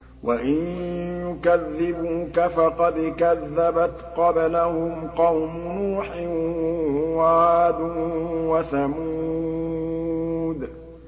وَإِن يُكَذِّبُوكَ فَقَدْ كَذَّبَتْ قَبْلَهُمْ قَوْمُ نُوحٍ وَعَادٌ وَثَمُودُ